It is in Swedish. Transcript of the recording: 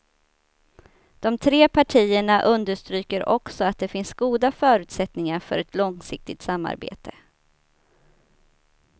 De tre partierna understryker också att det finns goda förutsättningar för ett långsiktigt samarbete.